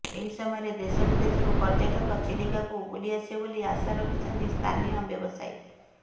ଏହି ସମୟରେ ଦେଶ ବିଦେଶରୁ ପର୍ଯ୍ୟଟକ ଚିଲିକାକୁ ବୁଲି ଆସିବେ ବୋଲି ଆଶା ରଖିଛନ୍ତି ସ୍ଥାନୀୟ ବ୍ୟବସାୟୀ